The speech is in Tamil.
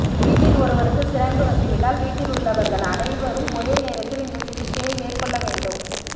வீட்டில் ஒருவருக்கு சிரங்கு வந்துவிட்டால் வீட்டில் உள்ளவர்கள் அனைவரும் ஒரே நேரத்தில் இந்தச் சிகிச்சையை மேற்கொள்ள வேண்டும்